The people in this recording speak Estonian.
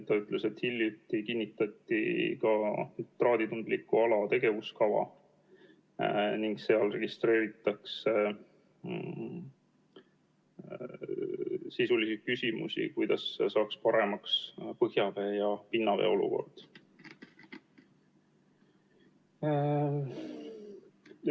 Ta ütles, et hiljuti kinnitati ka nitraaditundliku ala tegevuskava ning seal registreeritakse sisulisi küsimusi, kuidas saaks põhjavee ja pinnavee olukorda paremaks muuta.